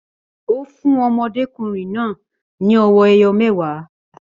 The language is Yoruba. Ó fún ọmọdékùnrin náà ní owó ẹyọ mẹwa